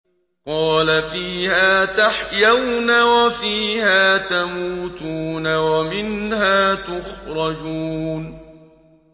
قَالَ فِيهَا تَحْيَوْنَ وَفِيهَا تَمُوتُونَ وَمِنْهَا تُخْرَجُونَ